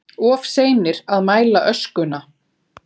Of seinir að mæla öskuna